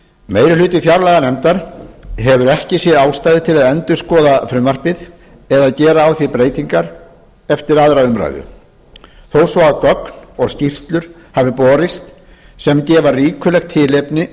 meirihluti fjárlaganefndar hefur ekki séð ástæðu til að endurskoða frumvarpið eða gera á því breytingar eftir aðra umræðu þó svo að gögn og skýrslur hafi borist sem gefa ríkulegt tilefni